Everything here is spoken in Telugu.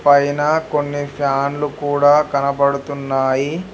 పైన కొన్ని ఫ్యాన్లు కూడా కనబడుతున్నాయి.